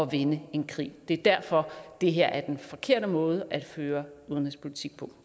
vinde en krig det er derfor at det her er den forkerte måde at føre udenrigspolitik på